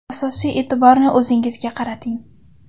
Asosiy e’tiborni o‘zingizga qarating.